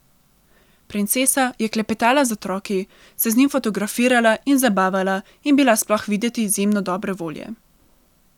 Princesa je klepetala z otroki, se z njimi fotografirala in zabavala in bila sploh videti izjemno dobre volje.